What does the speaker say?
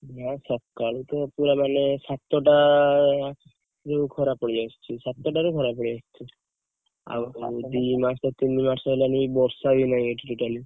ନା ସକାଳୁ ମାନେ ସାତେଟାରୁ ଖରା ପଡ଼ିଯାଉଛି ସାତେଟାରୁ ଖରା ପଳେଇଆସୁଛି ଆଉ ଦି ମାସେ ତିନି ମାସେ ହେଲାଣି ବର୍ଷା ବି ନାହି ଏଠି totally